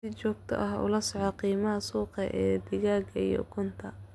Si joogto ah ula soco qiimaha suuqa ee digaaga iyo ukunta.